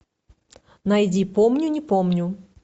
найди помню не помню